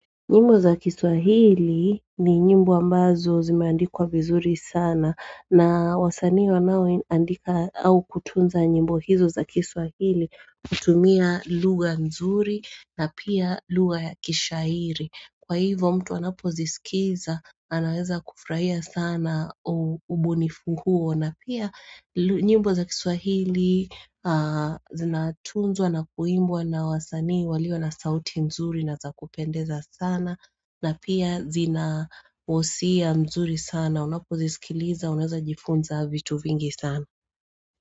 Nyimbo za kiswahili ni nyimbo ambazo zimeandikwa vizuri sana na wasanii wanao andika au kutunza nyimbo hizo za kiswahili hutumia lugha nzuri na pia lugha ya kishairi kwa hivyo mtu anapozisikiza anaweza kufurahia sana ubunifu huo na pia nyimbo za kiswahili zinatunzwa na kuimbwa na wasanii walio na sauti mzuri na za kupendeza sana na pia zinahisia mzuri sana unapo zisikiliza unaweza jifunza vitu vingi sana.